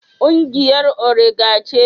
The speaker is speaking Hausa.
Kungiyar orega ce.